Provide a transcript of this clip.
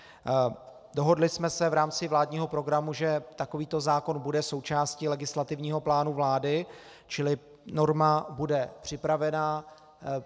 Dohodli jsme se v rámci vládního programu, že takovýto zákon bude součástí legislativního plánu vlády, čili norma bude připravena.